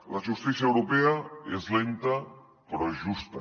la justícia europea és lenta però és justa